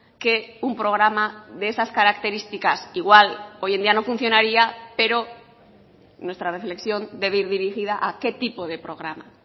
que un programa de esas características igual hoy en día no funcionaria pero nuestra reflexión debe ir dirigida a qué tipo de programa